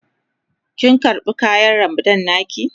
Kin karba kayan Ramadan na ki?